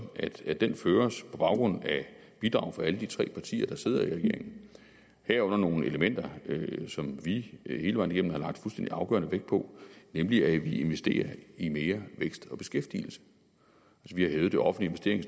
at den føres på baggrund af bidrag fra alle de tre partier der sidder i regering herunder nogle elementer som vi hele vejen igennem har lagt fuldstændig afgørende vægt på nemlig at vi investerer i mere vækst og beskæftigelse vi har hævet det offentlige